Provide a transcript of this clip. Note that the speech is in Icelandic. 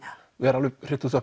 vera alveg